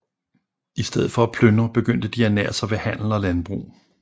I stedet for at plyndre begyndte de at ernære sig ved handel og landbrug